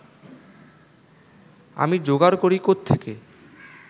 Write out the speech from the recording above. আমি যোগাড় করি কোত্থেকে